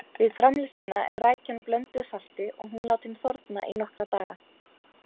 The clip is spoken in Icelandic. Við framleiðsluna er rækjan blönduð salti og hún látin þorna í nokkra daga.